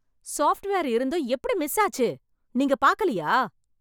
Software இருந்தும் எப்படி miss ஆச்சு. நீங்க பாக்கலையா?